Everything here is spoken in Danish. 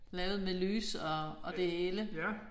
Lavet med lys og og det hele